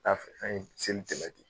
A an ye seli tɛmɛ ten.